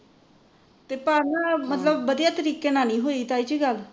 ਪਰ ਨਾ ਮਤਲਬ ਵਧੀਆ ਤਰੀਕੇ ਨਾਲ ਨਹੀ ਹੋਈ ਤਾਈ ਜੀ ਗੱਲ